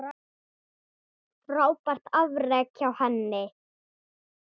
Frábært afrek hjá henni.